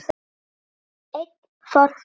Einn forveri